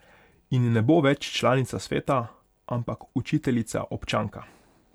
In ne bo več članica sveta, ampak učiteljica občanka.